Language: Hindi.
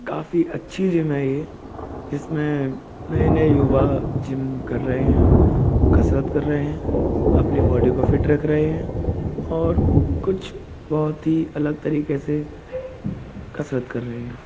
काफी अच्छी जिम है ये जिसमें नए नए युवा जिम कर रहे हैं कसरत कर रहे हैं अपनी बॉडी को फिट रख रहे हैं और कुछ बोहोत ही अलग तरीके से कसरत कर रहे हैं।